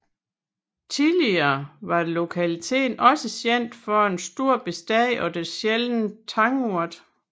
Tidligere var lokaliteten også kendt for en stor bestand af den sjældne tangurt